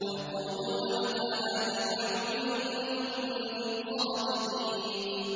وَيَقُولُونَ مَتَىٰ هَٰذَا الْوَعْدُ إِن كُنتُمْ صَادِقِينَ